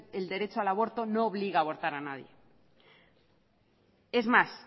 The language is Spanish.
el derecho al aborto no obliga a abortar a nadie es más